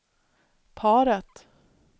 paret